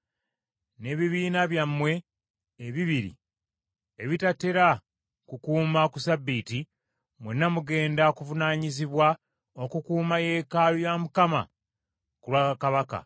n’ebibiina byammwe ebibiri ebitatera kukuuma ku ssabbiiti, mwenna mugenda kuvunaanyizibwa okukuuma yeekaalu ya Mukama ku lwa kabaka.